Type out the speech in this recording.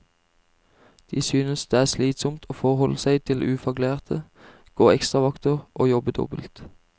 De synes det er slitsomt å forholde seg til ufaglærte, gå ekstravakter og jobbe dobbelt.